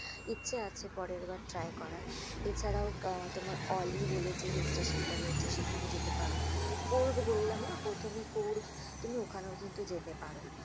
ইচ্ছে আছে পরেরবার try করার। এছাড়াও আহ তোমার অলি বলে যে hill স্টেশনটা রয়েছে সেখানে যেতে পারো । কোর্গ বললাম না প্রথমেই কোর্গ তুমি ওখানেও কিন্তু যেতে পারো,